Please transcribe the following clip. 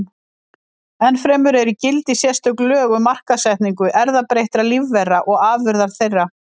Ennfremur eru í gildi sérstök lög um markaðssetningu erfðabreyttra lífvera og afurða þeirra.